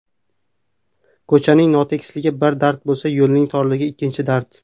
Ko‘chaning notekisligi bir dard bo‘lsa, yo‘lning torligi ikkinchi dard.